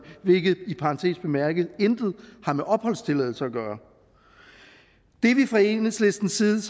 hvilket i parentes bemærket intet har med opholdstilladelse at gøre det er vi fra enhedslistens side